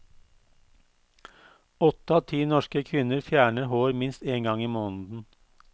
Åtte av ti norske kvinner fjerner hår minst én gang i måneden.